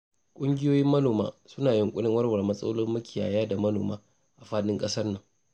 Ƙungiyoyin manoma suna yunƙurin warware matsalolin makiyaya da manoma a faɗin ƙasar nan.